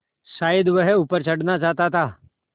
शायद वह ऊपर चढ़ना चाहता था